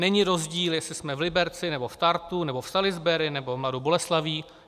Není rozdíl, jestli jsme v Liberci, nebo v Tartu, nebo v Salisbury, nebo v Mladé Boleslavi.